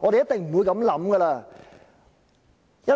我們一定不會這樣想，